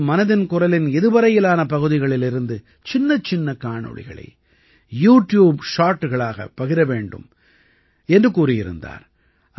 அதாவது மனதின் குரலின் இதுவரையிலான பகுதிகளிலிருந்து சின்னச்சின்ன காணொளிகளை யூ ட்யூப் ஷார்ட்டுகளாக பகிர வேண்டும் என்று கூறியிருந்தார்